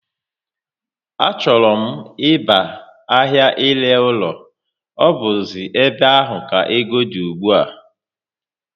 Á chọrọ m ịba ahia ire ụlọ, ọ buzi ébé áhù ka égo dị ùgbúà